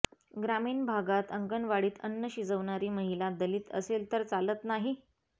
ग्रामीण भागात अंगणवाडीत अन्न शिजविणारी महिला दलित असेल तर चालत नाही